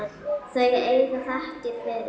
Þau eiga þakkir fyrir.